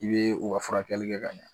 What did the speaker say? I bee o ka furakɛli kɛ ka ɲa